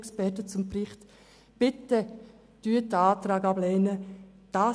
Bitte lehnen Sie diesen Antrag ab.